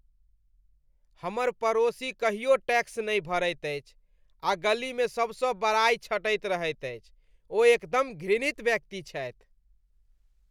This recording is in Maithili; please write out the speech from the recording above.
हमर पड़ोसी कहियो टैक्स नहि भरैत अछि आ गलीमे सबसँ बड़ाई छँटैत रहैत अछि। ओ एकदम घृणित व्यक्ति छथि ।